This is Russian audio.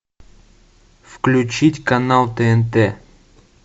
включить канал тнт